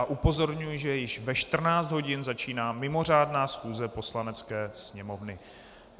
A upozorňuji, že již ve 14 hodin začíná mimořádná schůze Poslanecké sněmovny.